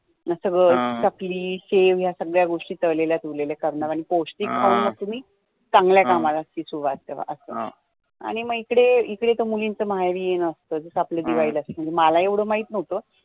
मग सगळं चकली शेव ह्या सगळ्या गोष्टी तळलेल्या तुरल्या करणार अन पौष्टिक अन्न तुम्ही चांगल्या कामाला सुरुवात करा असं आणी इकडे इकडे तर मुली माहेरी येणं असतं जसं आपल्या कडे दिवाळी ला मला एवढं माहित न्हवतं